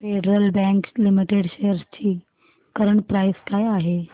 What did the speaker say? federal Bank Limited shares ची current price काय आहे